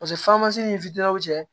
Paseke ni fitinaw cɛ